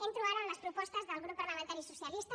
entro ara en les propostes del grup parlamentari socialista